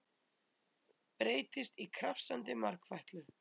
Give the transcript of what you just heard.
Breytist í krafsandi margfætlu.